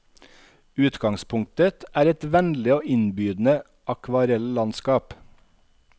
Utgangspunktet er et vennlig og innbydende akvarellandskap.